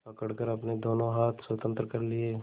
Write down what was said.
पकड़कर अपने दोनों हाथ स्वतंत्र कर लिए